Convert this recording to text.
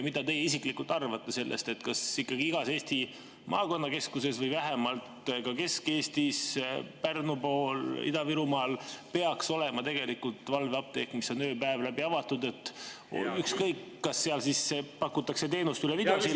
Mida teie isiklikult arvate sellest, kas ikkagi igas Eesti maakonnakeskuses või vähemalt Kesk-Eestis, Pärnu pool, Ida-Virumaal peaks olema valveapteek, mis on ööpäev läbi avatud, ükskõik, kas seal siis pakutakse teenust üle videosilla …